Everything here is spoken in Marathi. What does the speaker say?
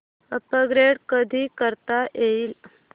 अपग्रेड कधी करता येईल